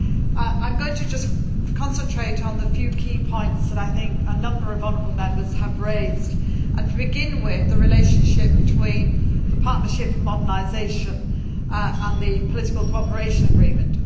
I am going to just concentrate on the few key points that I think a number of honourable Members have raised and, to begin with, the relationship between the partnership for modernisation and the political cooperation agreement.